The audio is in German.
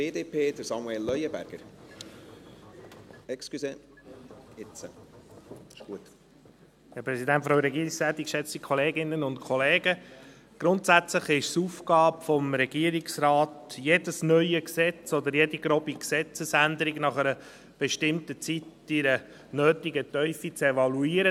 Grundsätzlich ist es die Aufgabe des Regierungsrates, jedes neue Gesetz oder jede grobe Gesetzesänderung nach einer bestimmten Zeit in der nötigen Tiefe zu evaluieren.